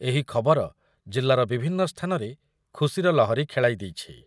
ଏହି ଖବର ଜିଲ୍ଲାର ବିଭିନ୍ନ ସ୍ଥାନରେ ଖୁସିର ଲହରୀ ଖେଳାଇ ଦେଇଛି ।